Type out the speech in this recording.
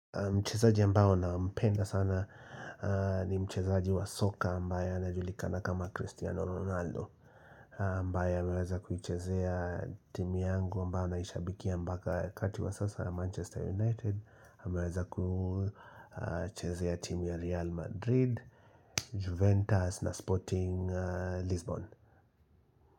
Mchezaji ambaye nampenda sana ni mchezaji wa soka ambaye anajulikana kama Cristiano Ronaldo ambaye ameweza kuichezea timu yangu ambayo naishabikia mpaka wakati wa sasa ya Manchester United. Ameweza kuchezea timu ya Real Madrid, Juventus na Sporting Lisbon.